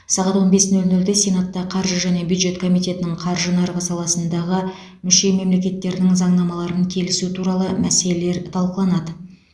сағат он бес нөл нөлде сенатта қаржы және бюджет комитетінің қаржы нарығы саласындағы мүше мемлекеттерінің заңнамаларын келісу туралы мәселелер талқыланады